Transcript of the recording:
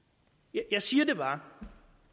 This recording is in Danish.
jeg siger det bare